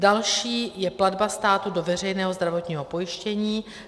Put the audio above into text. Další je platba státu do veřejného zdravotního pojištění.